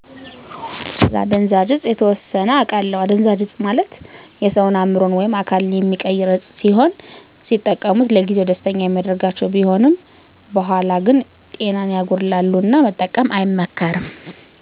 እኔ እጃ ስለ አደዛዥ እፆች አላውቅም